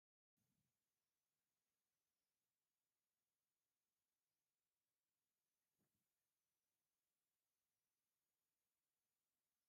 ኣብዚ ድንካን ብዙሓት ዝሽየጡ ኣቅሑ ኣለዉ ን ኣብነት ቢሮ፣ ላማ ፣ኣጃክስ ን ክርቢትን ይርከቡ ። ናይ ሕድሕድ ዋጋ ክንደይ እዩ ?